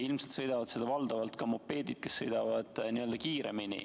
Ilmselt sõidavad seal valdavalt ka mopeedid, mis sõidavad kiiremini.